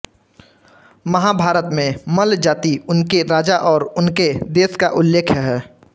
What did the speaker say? महाभारत में मल्ल जाति उनके राजा और उनके देश का उल्लेख हैं